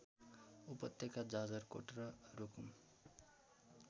उपत्यका जाजरकोट र रूकुम